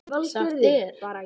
Sagt er